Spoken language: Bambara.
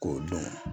K'o dɔn